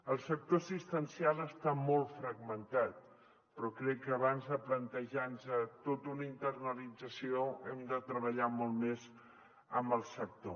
el sector assistencial està molt fragmentat però crec que abans de plantejar nos tota una internalització hem de treballar molt més amb el sector